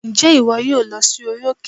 Ǹjẹ́ ìwọ yóò lọ sí orí òkè?